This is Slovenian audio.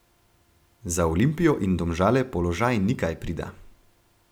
Za Olimpijo in Domžale položaj ni kaj prida.